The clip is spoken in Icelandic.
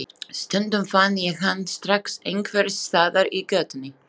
Stundum fann ég hann strax einhvers staðar í götunni.